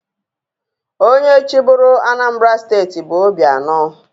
Onye chịburu Anambra steeti bụ Obianọ.